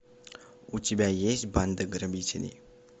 у тебя есть банда грабителеи